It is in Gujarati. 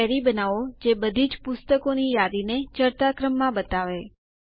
એક ક્વેરી બનાવો જે બધીજ પુસ્તકોની યાદીને ચઢતા ક્રમમાં બતાવે